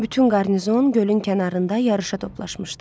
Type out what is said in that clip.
Bütün qarnizon gölün kənarında yarışa toplaşmışdı.